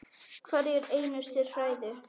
Hverja einustu hræðu!